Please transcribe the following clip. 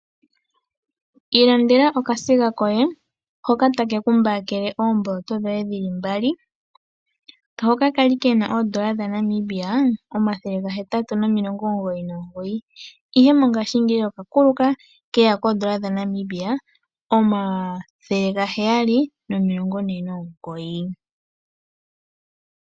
Ilandela okasiga koye hoka take kumbakele oomboloto dhoye dhi li mbali hoka ka li ke na oodola dhaNamibia omathele gahetatu nomilongo omugoyi nomugoyi ihe mongaashingeyi oka kuluka ke ya koodola dhaNamibia omathele gaheyali nomilongo ne nomugoyi.